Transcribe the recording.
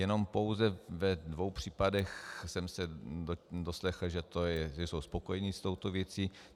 Jenom pouze ve dvou případech jsem se doslechl, že jsou spokojeni s touto věcí.